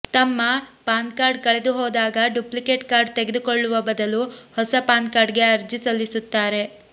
ತಮ್ಮ ಪಾನ್ಕಾರ್ಡ್ ಕಳೆದುಹೋದಾಗ duplicate card ಪಡೆದುಕೊಳ್ಳುವ ಬದಲು ಹೊಸ ಪಾನ್ಕಾರ್ಡ್ಗೆ ಅರ್ಜಿ ಸಲ್ಲಿಸುತ್ತಾರೆ